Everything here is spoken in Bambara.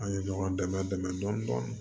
An ye ɲɔgɔn dɛmɛ dɛmɛ dɔɔni